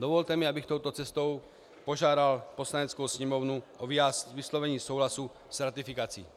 Dovolte mi, abych touto cestou požádal Poslaneckou sněmovnu o vyslovení souhlasu s ratifikací.